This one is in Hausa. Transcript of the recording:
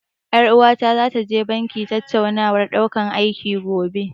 Ƴar uwata zata je banki tattaunawar ɗaukan aiki, gobe.